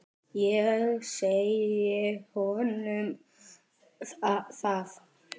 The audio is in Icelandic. Ég segi honum það.